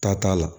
Ta t'a la